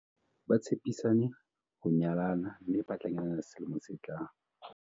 Ba tshepisane ho nyalana mme ba tla nyalana selemong se tlang.